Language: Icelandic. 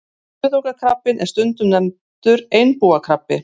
Kuðungakrabbinn er stundum nefndur einbúakrabbi.